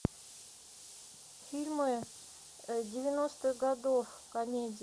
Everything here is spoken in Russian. фильмы девяностых годов комедии